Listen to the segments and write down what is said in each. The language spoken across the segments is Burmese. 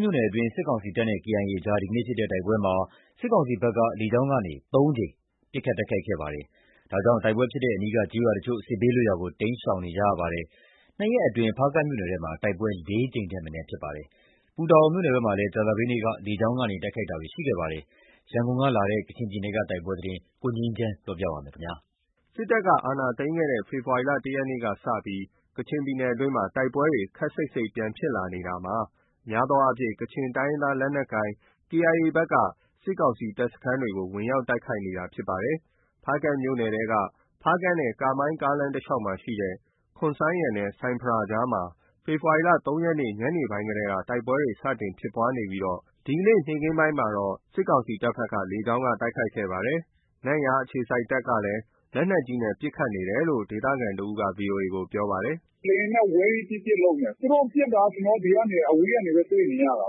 မြို့နယ်အတွင်း စစ်ကောင်စီတပ်နဲ့ KIA နဲ့ ဒီနေ့ ဖြစ်ပွားတဲ့ တိုက်ပွဲမှာ စစ်ကောင်စီဘက်က လေကြောင်းကနေ ၃ ကြိမ် လာရောက်ပစ်ခတ်တိုက်ခိုက်ခဲ့ပါတယ်။ ဒါကြောင့် တိုက်ပွဲဖြစ် ရာအနီးက ကျေးရွာအချို့ဟာ စစ်ဘေးလွတ်ရာကို တိမ်းရှောင်နေကြရပါတယ်။ နှစ်ရက်အတွင်း ဖားကန့်မြို့နယ်ထဲမှာ တိုက်ပွဲ ၄ ကြိမ်ထက်မနည်း ဖြစ်ပွားနေတာပါ။ ပူတာအိုမြို့နယ်ဘက်မှာလည်း ကြာသပတေးနေ့ လေကြောင်းက တိုက်ခိုက်တာတွေ ရှိခဲ့ပါတယ်။ ရန်ကုန်ကလာတဲ့ ကချင်ပြည်နယ်က တိုက်ပွဲသတင်းကို ကိုငြိမ်းချမ်းက တင်ပြထားပါတယ်။ စစ်တပ်က အာဏာသိမ်းခဲ့တဲ့ ဖေဖော်ဝါရီလ ၁ ရက်နေ့က စတင်ပြီး ကချင်ပြည်နယ်အတွင်းမှာ တိုက်ပွဲ တွေ ခပ်စိပ်စိပ်ပြန်ဖြစ်လာနေပြီး အများအားဖြင့် ကချင်တိုင်းရင်းသားလက်နက်ကိုင် KIA ဘက်က စစ်ကောင်စီတပ်စခန်းတွေကို ဝင်ရောက်တိုက်ခိုက် နေတာဖြစ်ပါတယ်။ ဖားကန့်မြို့နယ်ထဲက ဖားကန့်နဲ့ကာမိုင်း ကားလမ်းတလျှောက်မှာရှိတဲ့ ခွန်ဆိုင်ယန်နဲ့ ဆိုင်းဖရာအကြားမှာ ဖေဖော်ဝါရီ ၃ ရက် ညနေပိုင်းကတည်းက တိုက်ပွဲတွေ စတင်တိုက်ပွဲဖြစ်ပွားနေပြီး ဒီကနေ့နေ့ခင်းမှာတော့ စစ်ကောင်စီတပ်ဘက်က လေကြောင်းက တိုက်ခိုက်ခဲ့ပါတယ်။ နန့်ယားအခြေစိုက်တပ်ကလည်း လက်နက်ကြီးနဲ့ပစ်ခတ်နေတယ်လို့ ဒေသခံတဦးက VOA ကို ပြောပါတယ်။ “လေယာဉ်နဲ့ဝဲပြီး ပစ်၊ ပစ် လုပ်နေတယ်။ သူတို့ပစ်တာက ကျနော်တို့ အဝေးကနေပဲ တွေ့နေရတာ။ မနေ့က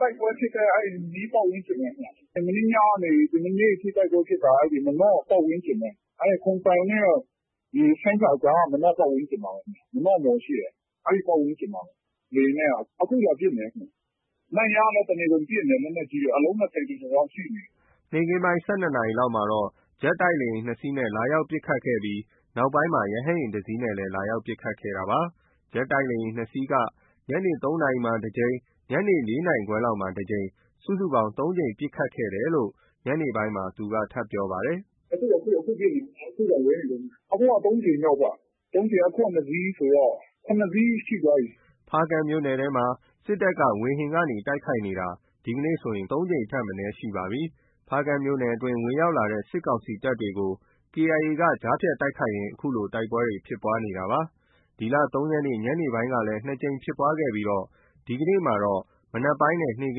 တိုက်ပွဲဖြစ်တဲ့ အနီးပတ်ဝန်းကျင်ပဲဗျ။ မနေ့ကနေ ဒီမနက်ထိတိုက်ပွဲဖြစ်တာ မာနော့ပတ်ဝန်းကျင်ပဲ။ အဲဒီ ခွန်ဆိုင်ယန်နဲ့ ဆိုင်းဖရာကြားက မာနော့ ပတ်ဝန်းကျင်မှာပဲ။ မာနော့မှော်ရှိတယ်။ အဲဒီပတ်ဝန်းကျင်ပဲ။ နန့်ယားကလည်း တနေကုန်ပစ်နေတယ်။ လက်နက်ကြီးတွေ အလုံး ၂၀ ကျော်လောက်ရှိနေပြီ။” လေယာဉ်နဲ့ ပစ်ခတ်တာကတော့ ၁၂ နာရီလောက်မှာတော့ ဂျက်တိုက်လေယာဉ် ၂ စီးနဲ့ လာရောက်ပစ်ခတ်ခဲ့ပြီး နောက်ပိုင်းမှာ ရဟတ်ယာဉ် ၁ စီးနဲ့ ပစ်ခတ်ခဲ့တာပါ။ ဂျက်တိုက်လေယာဉ် ၂ စီးက ညနေ ၃ နာရီလောက်မှာတကြိမ် ။ ညနေ ၄ နာရီခွဲလောက်မှာတကြိမ်၊ စုစုပေါင်း ၃ ကြိမ် ထပ်မံ ပစ်ခတ်တိုက်ခိုက်ခဲ့ကြောင်း ညနေပိုင်းမှာ သူက ထပ်မံပြောဆိုလာပါတယ်။ “အခု အခု အခု ပစ်နေတုန်းပဲ။ အခုတောင် ဝဲနေတုန်းပဲ။ အခုက ၃ ကြိမ်မြောက်ပဲ။ အခုက ၂ စီးဆိုတော့ ၇ စီးရှိသွားပြီ။” ဖားကန့်မြို့နယ်ထဲမှာ စစ်တပ်ဘက်က ဝေဟင်ကနေ တိုက်ခိုက်တာ ဒီနေ့ ၇ ကြိမ်ထက် မနည်းဖြစ်ပါတယ်။ ဖားကန့်မြို့နယ်တွင်း ဝင်ရောက်လာတဲ့ စစ်ကောင်စီတပ်တွေကို KIA က ကြားဖြတ်တိုက်ခိုက်ရင်း အခုလို တိုက်ပွဲတွေ ဖြစ်ပွားနေတာပါ။ ဒီလ ၃ ရက်နေ့ညနေပိုင်းက ၂ ကြိမ်ဖြစ်ခဲ့ပြီး ဒီကနေ့မှာတော့ မနက်နဲ့ နေ့ခ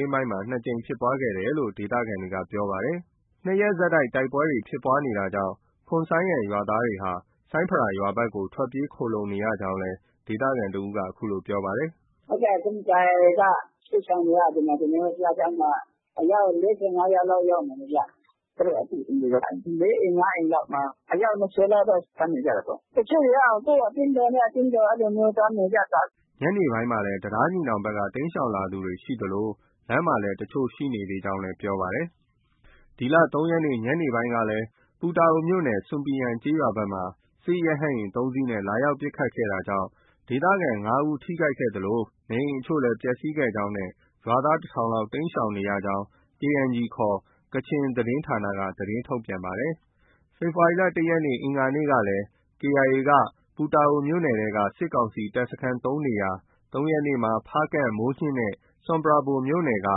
င်းပိုင်းမှာ ၂ ကြိမ်ဖြစ်ပွားခဲ့တယ်လို့ ဒေသခံတွေက ပြောပါတယ်။ ၂ ရက်ဆက် တိုက်ပွဲဖြစ်နေတာကြောင့် ခွန်ဆိုင်ယန်က ရွာသားတွေဟာ ဆိုင်းဖရာရွာဘက်ကို ထွက်ပြေးခိုလှုံနေကြောင်းနောက်ဒေသခံကလည်း ခုလို ပြောပါတယ်။ “ဟုတ်ကဲ့။ ခွန်ဆိုင်ယန်က စစ်ရှောင်တွေက ကျနော်တို့ဘုရားကျောင်းမှာ အယောက် ၄၅ ယောက်လောက် ရောက်နေပြီဗျ။ သူတို့အသိအိမ်တွေ ၄ အိမ်၊ ၅ အိမ်လောက်မှာ အယောက် ၂၀ လောက်တော့ သွားနေကြတာပေါ့။ တချို့တွေက ကိုယ့်အသင်းတော်နဲ့ အသင်းတော် အဲလိုမျိုးသွားနေကြတာ။” ညနေပိုင်းမှာ တံတားညီနောင်ဘက်ကလည်း တိမ်းရှောင်လာသူတွေ ရှိသလို လမ်းမှာလည်း တချို့ ရှိနေသေးကြောင်း ပြောပါတယ်။ ဒီလ ၃ ရက်နေ့ ညနေပိုင်းကလည်း ပူတာအိုမြို့နယ် ဆွမ်ပီယန်ကျေးရွာဘက်မှာ စစ်ရဟတ်ယာဉ် ၃ စီးနဲ့ လာရောက်ပစ်ခတ်ခဲ့တာကြောင့် ဒေသခံ ၅ ဦးထိခိုက်ခဲ့သလိုနေအိမ် အချို့လည်း ပျက်စီးခဲ့ကြောင်းနဲ့ ရွာသား ၁ ထောင်လောက် တိမ်းရှောင်နေရကြောင်း KNG ခေါ် ကချင်သတင်းဌာနက သတင်းထုတ်ပြန်ပါတယ်။ ဖေဖော်ဝါရီ ၁ ရက် အင်္ဂါနေ့က KIAက ပူတာအိုမြို့နယ်က စစ်ကောင်စီ တပ်စခန်း ၃ နေရာ၊ ၃ ရက်နေ့မှာ ဖားကန့်၊ မိုးညှင်းနဲ့ ဆွမ်ပရာဘွမ်မြို့နယ်က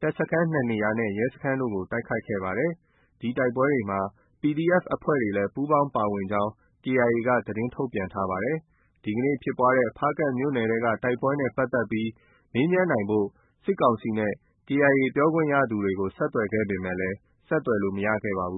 တပ်စခန်း၂ နေရာနဲ့ ရဲစခန်းတို့ကို တိုက်ခိုက်ခဲ့ပါတယ်။ ဒီတိုက်ပွဲတွေမှာ PDF အဖွဲ့တွေလည်း ပူးပေါင်းပါဝင်ကြောင်း KIA က သတင်းထုတ်ပြန်ထားပါတယ်။ ဒီနေ့ဖြစ်ပွားနေတဲ့ ဖားကန့်မြို့နယ်က တိုက်ပွဲနဲ့ပတ်သက်ပြီး မေးမြန်းနိုင်ဖို့ စစ်ကောင်စီနဲ့ KIA က ပြောခွင့်ရသူတွေကို ဆက်သွယ်ခဲ့ပေမယ့် ဆက်သွယ်လို့ မရခဲ့ပါဘူး